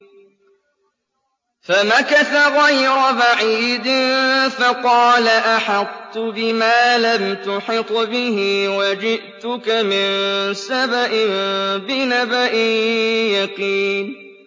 فَمَكَثَ غَيْرَ بَعِيدٍ فَقَالَ أَحَطتُ بِمَا لَمْ تُحِطْ بِهِ وَجِئْتُكَ مِن سَبَإٍ بِنَبَإٍ يَقِينٍ